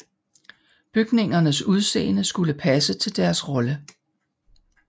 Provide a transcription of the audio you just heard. Bygningernes udseende skulle passe til deres rolle